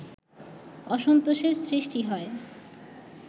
অসন্তোষের সৃষ্টি হয়